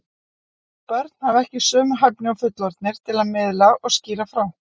Börn hafa ekki sömu hæfni og fullorðnir til að miðla og skýra frá.